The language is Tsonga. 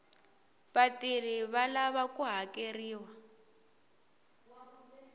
vatirhi va lava ku hakeriwa